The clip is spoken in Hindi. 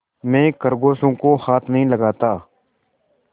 मैं खरगोशों को हाथ नहीं लगाता